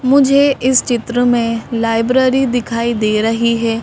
मुझे इस चित्र में लाइब्रेरी दिखाई दे रही है।